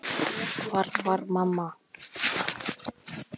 Hvar var mamma?